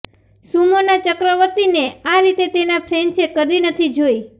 સુમોના ચક્રવતીને આ રીતે તેના ફેન્સે કદી નથી જોઈ